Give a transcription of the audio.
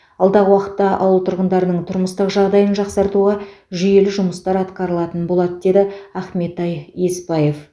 алдағы уақытта ауыл тұрғындарының тұрмыстық жағдайын жақсартуға жүйелі жұмыстар атқарылатын болады деді ақментай есбаев